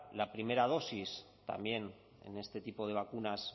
la primera dosis también en este tipo de vacunas